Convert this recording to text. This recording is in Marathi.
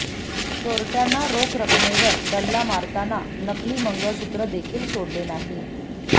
चोरटय़ांना रोख रकमेवर डल्ला मारताना नकली मंगळसुत्र देखील सोडले नाही